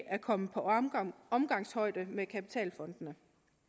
at komme på omgangshøjde med kapitalfondene